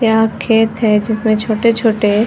यह खेत है जिसमे छोटे - छोटे --